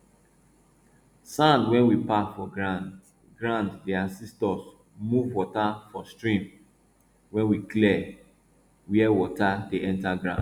sand wey we pack for ground ground dey assist us move water for stream when we clean where water dey enter farm